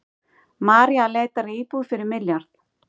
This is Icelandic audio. Maria leitar að íbúð fyrir milljarð